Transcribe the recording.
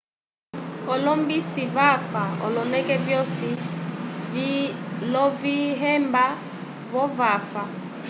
olombisi vafa oloneke vyosi, lovihemba vo vava